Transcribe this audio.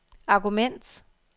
argument